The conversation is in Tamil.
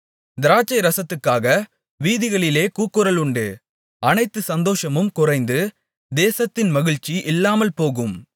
திராட்சைரசத்துக்காக வீதிகளிலே கூக்குரல் உண்டு அனைத்து சந்தோஷமும் குறைந்து தேசத்தின் மகிழ்ச்சி இல்லாமல் போகும்